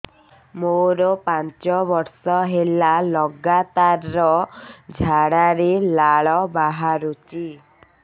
ମୋରୋ ପାଞ୍ଚ ବର୍ଷ ହେଲା ଲଗାତାର ଝାଡ଼ାରେ ଲାଳ ବାହାରୁଚି